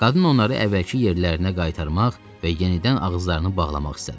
Qadın onları əvvəlki yerlərinə qaytarmaq və yenidən ağızlarını bağlamaq istədi.